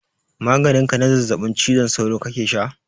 Maganin ka na zazzaɓin cizon sauro kake sha?